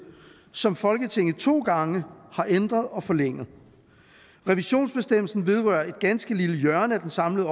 som folketinget to gange har ændret og forlænget revisionsbestemmelsen vedrører et ganske lille hjørne af den samlede